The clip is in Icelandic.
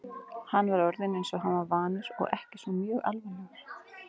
Hann var orðinn eins og hann var vanur og ekki svo mjög alvarlegur.